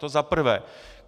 To za prvé.